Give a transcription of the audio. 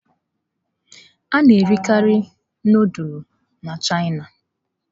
A na-erikarị nudulu na Chịana.